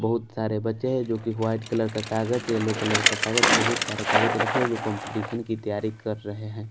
बहुत सारे बच्चे हैं जो कि वाइट कलर का कागज येलो कलर का कागज बहुत सारे कागज रखे हैं जो कंपटीशन की तैयारी कर रहे हैं।